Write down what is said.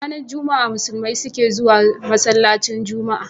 Ranar juma a musulmai sukezuwa masalacin juma a